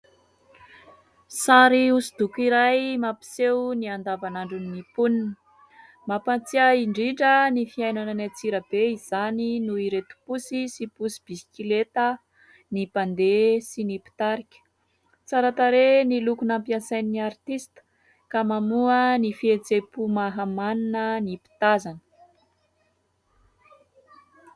Sary hosodoko iray mampiseho ny andavanandron'ny mponina. Mampahatsiahy indrindra ny fiainana any Antsirabe izany noho ireto posy sy posy bisikileta, ny mpandeha sy ny mpitarika. Tsara tarehy ny loko nampiasain'ny artista ka mamoha ny fihetseham-po mahamanina ny mpitazana.